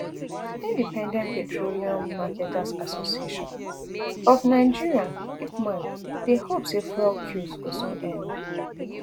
independent petroleum marketers association of nigeria ipman dey hope say fuel queues go soon end